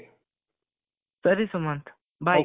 ಸರಿ ಸುಮಂತ್ bye